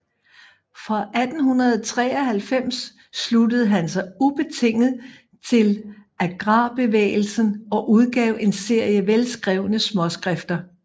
Fra 1893 sluttede han sig ubetinget til agrarbevægelsen og udgav en serie velskrevne småskrifter